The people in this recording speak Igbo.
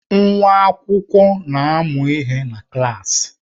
Nwa akwụkwọ na-amụ ihe ha na klaasị.